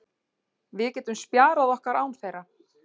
Við getum spjarað okkur án þeirra.